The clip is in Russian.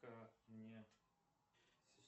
ка не